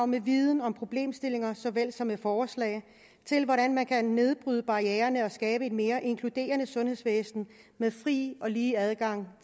med viden og problemstillinger såvel som med forslag til hvordan man kan nedbryde barriererne og skabe et mere inkluderende sundhedsvæsen med fri og lige adgang